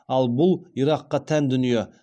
ал бұл иракқа тән дүние